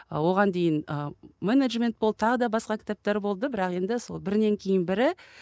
оған дейін ы менеджмент болды тағы да басқа кітаптар болды бірақ енді сол бірінен кейін бірі